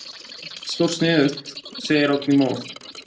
Jú jú, stórsniðugt, segir Oddný móð.